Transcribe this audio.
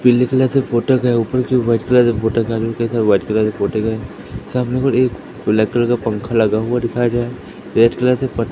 पीली कलर से फोटो के ऊपर जो व्हाइट कलर फोटो का कैसा व्हाइट कलर फोटो का सामने कि ओर एक ब्लैक कलर का पंखा लगा हुआ दिखाई दे रहा है रेड कलर कलर से --